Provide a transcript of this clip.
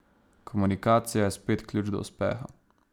Komunikacija je spet ključ do uspeha.